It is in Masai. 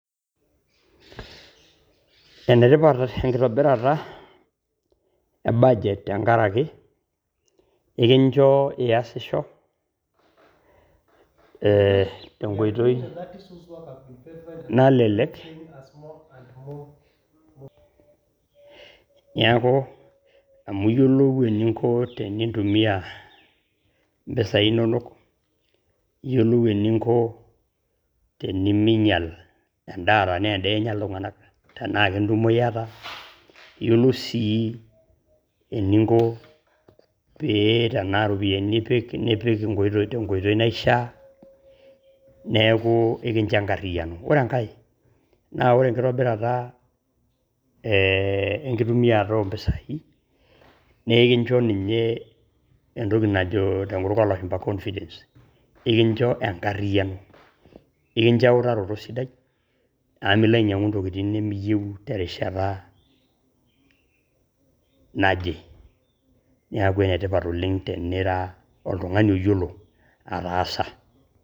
Enetipat enkitobirata e budget tenkaraki ekincho iasisho te nkoitoi nalelek. Niaku amu iyiolou eninko tenintumia mpisai inonok, iyiolou eninko teniminyial en`daa tenaa en`daa enya iltung`anak tenaa kentumo iyata. Iyiolou sii eninko tenaa irropiyiani ipik nipik te nkoitoi naishia. Neeku ekincho enkariyiano . Ore enkae, naa ore enkitobirata ee enkitumiata oo mpisai naa ekincho ninye entoki najo tenkutuk oo lashumpa confidence ekincho enkariyiano. Ekincho eutaroto sidai amu milo ainyiang`u ntokitin nimiyieu terishata naje. Niaku enetipat oleng tenira oltung`ani oyiolo ataasa.